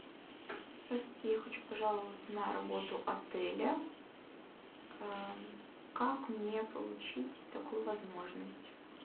здравствуйте я хочу пожаловаться на работу отеля как мне получить такую возможность